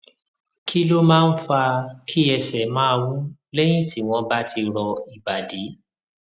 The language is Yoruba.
kí ló máa ń fa kí ẹsè máa wú léyìn tí wón bá ti rọ ìbàdí